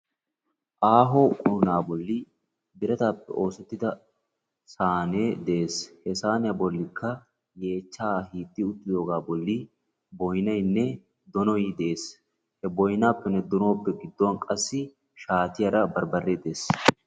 Aaho quunaa bolli birataappe oosettida saanee de'es. He saaniya bollikka yeechchaa hiixxi uttidoogaa balli boyinaynne donoy de'es. He boyinaappenne donuwappe gidduwan qassi shaatiyara barbaree de'es.